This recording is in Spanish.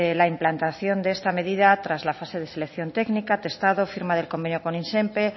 la implantación de esta medida tras la fase de selección técnica testado firma del convenio con izenpe